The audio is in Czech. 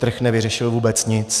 Trh nevyřešil vůbec nic.